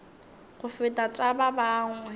go feta tša ba bangwe